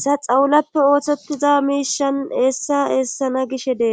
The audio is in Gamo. sa xawulappe ooththettiza miishan eessa eessana gishe dee